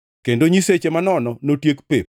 kendo nyiseche manono notiek pep.